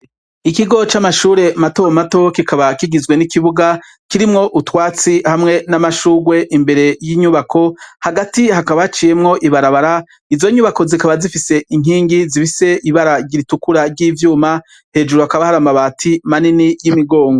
Ikigo c'amashure matomato, kikaba kigizwe n'ikibuga kirimwo utwatsi hamwe nam'ashugwe imbere y'inyubako, hagati hakaba haciyemwo ibarabara, izo nyubako zikaba zifise inkingi zifise ibara ritukura ry'ivyuma, hejuru hakaba har'akabati manini y'imigongo.